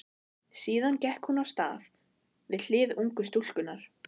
Síðan gekk hún af stað við hlið ungu stúlkunnar.